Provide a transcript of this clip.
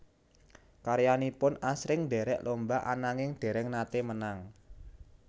Karyanipun asring ndherek lomba ananging dereng nate menang